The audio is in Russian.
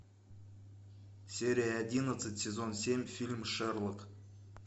серия одиннадцать сезон семь фильм шерлок